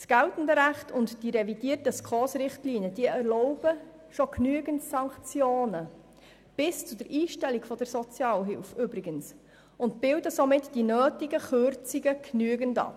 Das geltende Recht und die revidierten SKOS-Richtlinien erlauben schon genügend Sanktionen, übrigens bis zur Einstellung der Sozialhilfe, und somit bilden sie die notwendigen Kürzungen ausreichend ab.